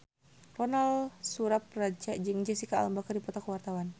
Ronal Surapradja jeung Jesicca Alba keur dipoto ku wartawan